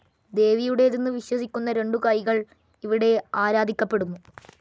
ദേവിയുടേതെന്നു വിശ്വസിക്കുന്ന രണ്ടു കൈകൾ ഇവിടെ ആരാധിക്കപ്പെടുന്നു.